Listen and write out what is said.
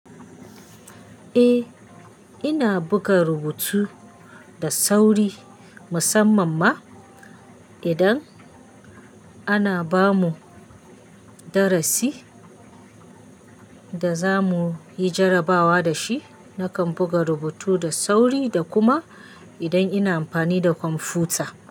Eh, ina buga rubutu da sauri musamman ma idan ana ba mu darasi da za mu yi jarabawa da shi. Nakan buga rubutu da sauri da kuma idan ina amfani da kwamfuta.